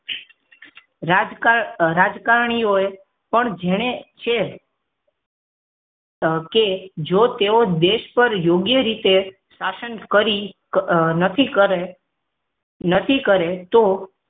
રાજકારણ રાજકારણીય પણ જેને છે કે જો તેઓ દેશ પર યોગ્ય રીતે શાસન કરી નક્કી કરે નક્કી કરે તો